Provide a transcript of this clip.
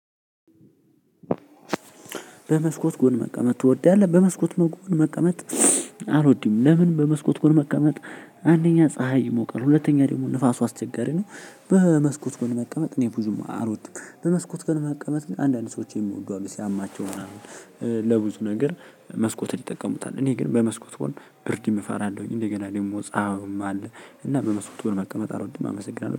በመስኮት ጎን መቀመጥ ትወዳለህ? በመስኮት መቀመጥ አልወድም። ለምን በመስኮት መቀመጥ አንደኛ ፀሀይ ይሞቃል። ሁለተኛ ደግሞ ንፋሱ አስቸጋሪ ነው። በመስኮት ጎን መቀመጥ እኔ ብዙም አልወድም። በመስኮት ግን መቀመጥ አንዳንድ ሰዎች የምወዱ አሉ ሲያማቸው ለብዙ ነገር መስኮትን ይጠቀሙታል። እኔ ግን በመስኮት ጎን ብርድም እፈራለሁኝ እንደገና ደግሞ ፀሀዩም አለ። እና በመስኮት ጎን መቀመጥ አልወድም። አመሰግናለሁ።